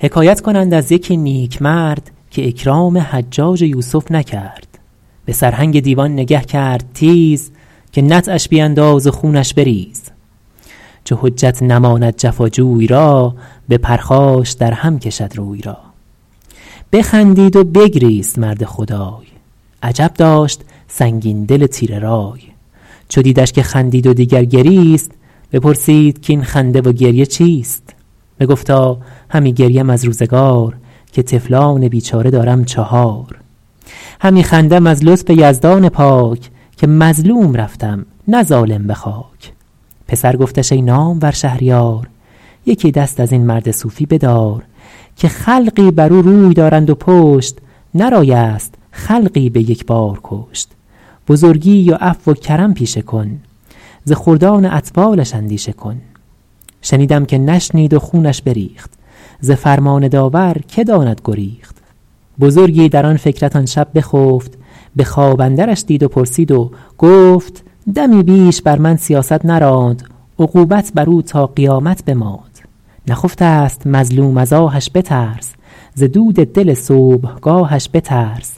حکایت کنند از یکی نیکمرد که اکرام حجاج یوسف نکرد به سرهنگ دیوان نگه کرد تیز که نطعش بیانداز و خونش بریز چو حجت نماند جفا جوی را به پرخاش در هم کشد روی را بخندید و بگریست مرد خدای عجب داشت سنگین دل تیره رای چو دیدش که خندید و دیگر گریست بپرسید کاین خنده و گریه چیست بگفتا همی گریم از روزگار که طفلان بیچاره دارم چهار همی خندم از لطف یزدان پاک که مظلوم رفتم نه ظالم به خاک پسر گفتش ای نامور شهریار یکی دست از این مرد صوفی بدار که خلقی بر او روی دارند و پشت نه رای است خلقی به یک بار کشت بزرگی و عفو و کرم پیشه کن ز خردان اطفالش اندیشه کن شنیدم که نشنید و خونش بریخت ز فرمان داور که داند گریخت بزرگی در آن فکرت آن شب بخفت به خواب اندرش دید و پرسید و گفت دمی بیش بر من سیاست نراند عقوبت بر او تا قیامت بماند نخفته ست مظلوم از آهش بترس ز دود دل صبحگاهش بترس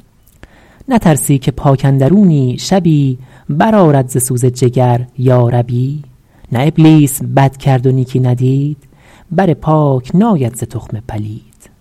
نترسی که پاک اندرونی شبی بر آرد ز سوز جگر یا ربی نه ابلیس بد کرد و نیکی ندید بر پاک ناید ز تخم پلید